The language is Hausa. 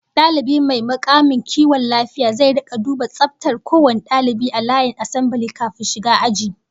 Dalibi mai mukamin kiwon lafiya zai rika duba tsaftar kowane dalibi a layin asambile kafin shiga aji